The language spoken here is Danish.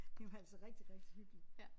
Det var altså rigtig rigtig hyggeligt